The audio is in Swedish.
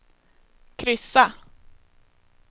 kryssa